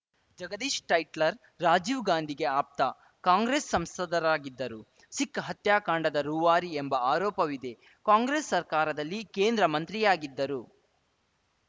ಜಗದೀಶ್‌ ಟೈಟ್ಲರ್‌ ರಾಜೀವ್‌ ಗಾಂಧಿಗೆ ಆಪ್ತ ಕಾಂಗ್ರೆಸ್‌ ಸಂಸದರಾಗಿದ್ದರು ಸಿಖ್‌ ಹತ್ಯಾಕಾಂಡದ ರೂವಾರಿ ಎಂಬ ಆರೋಪವಿದೆ ಕಾಂಗ್ರೆಸ್‌ ಸರ್ಕಾರದಲ್ಲಿ ಕೇಂದ್ರ ಮಂತ್ರಿಯಾಗಿದ್ದರು